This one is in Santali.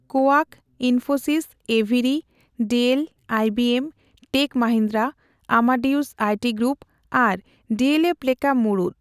ᱠᱳᱭᱟᱠ, ᱤᱱᱯᱷᱳᱥᱤᱥ, ᱮᱵᱷᱤᱨᱤ, Dell, IBM, Tech Mahindra, Amadeus IT group, ᱟᱨ ᱰᱤᱹᱮᱞᱹᱮᱯᱷ ᱞᱮᱠᱟ ᱢᱩᱲᱩᱛ᱾